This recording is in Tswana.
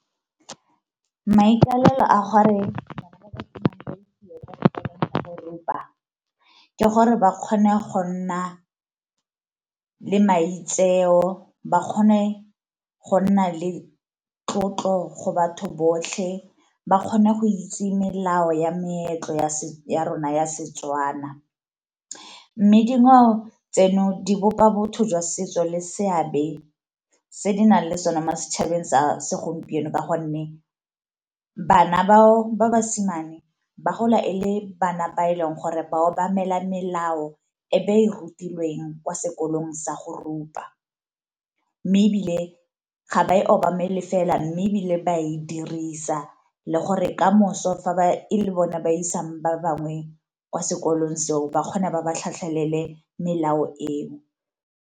Maikalelo a gore bana ba basimane ba isiwe kwa sekolong sa go rupa ke gore ba kgone go nna le maitseo, ba kgone go nna le tlotlo go batho botlhe, ba kgone go itse melao ya meetlo ya rona ya Setswana. Mme dingwao tseno di bopa botho jwa setso le seabe se di nang le sone mo setšhabeng sa segompieno ka gonne, bana bao ba basimane ba gola e le bana ba e leng gore bao obamela melao e be e rutilweng kwa sekolong sa go rupa, mme ebile ga ba e obamele fela mme ebile ba e dirisa. Le gore kamoso fa e le bone ba isang ba bangwe kwa sekolong seo ba kgone ba ba tlhatlhelele melao eo.